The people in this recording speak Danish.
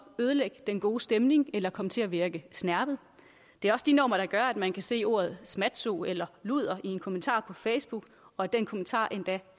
ødelægge den gode stemning eller komme til at virke snerpet det er også de normer der gør at man kan se ordet smatso eller luder i en kommentar på facebook og at den kommentar endda